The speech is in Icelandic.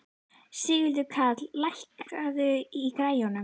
Sigurkarl, lækkaðu í græjunum.